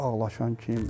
Ağlaşan kim?